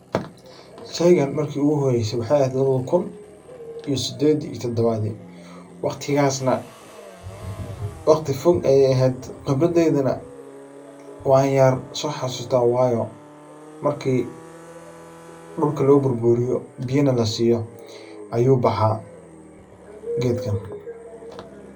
Sheygan maki iguhoeyse wexey eheed lawada kuun todabad waqtigas waqti fog ayey ehed lakin wan xasusta wayo marki dulka loburburiyo biyana lasiyo ayu baxa gedkan.